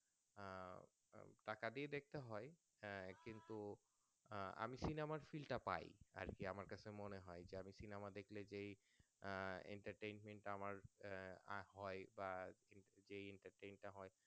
টাকা দিয়ে দেখতে হয় আহ কিন্তু আমি Cinema র Feel টা পাই আরকি আমার মনে হয় যাদের কিনা আমার দেখলে যেই আহ Entertainment টা আমার আহ হয় বা যেই Entertant টা হয়